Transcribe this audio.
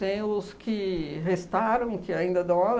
Tenho os que restaram, que ainda dão aula